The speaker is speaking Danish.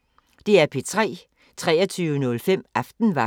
DR P3